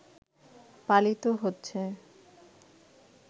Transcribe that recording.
পালিত হচ্ছে